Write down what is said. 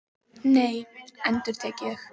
Nei, endurtek ég.